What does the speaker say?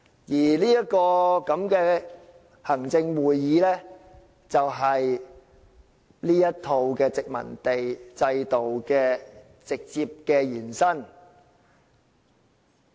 至於行政會議，便是這一套殖民地制度的直接延伸。